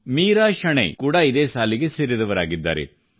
ಮೀರಾ ಶೆಣೈ ಕೂಡಾ ಇದೇ ಸಾಲಿಗೆ ಸೇರಿದವರಾಗಿದ್ದಾರೆ